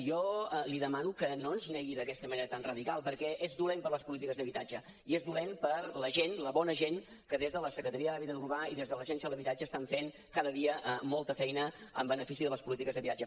jo li demano que no ens negui d’aquesta manera tan radical perquè és dolent per a les polítiques d’habitatge i és dolent per a la gent la bona gent que des de la secretaria d’hàbitat urbà i des de l’agència de l’habitatge estan fent cada dia molta feina en benefici de les polítiques d’habitatge